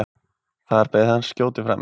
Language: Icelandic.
Þar beið hans skjótur frami.